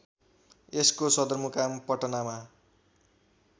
यसको सदरमुकाम पटनामा